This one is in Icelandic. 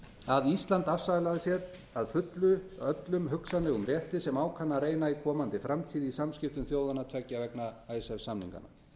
að ísland afsalaði sér að fullu öllum hugsanlegum rétti sem á kann að reyna í komandi framtíð í samskiptum þjóðanna tveggja vegna icesave samninganna